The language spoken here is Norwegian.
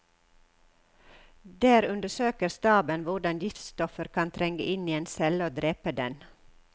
Der undersøker staben hvordan giftstoffer kan trenge inn i en celle og drepe den.